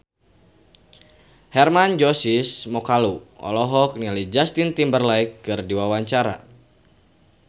Hermann Josis Mokalu olohok ningali Justin Timberlake keur diwawancara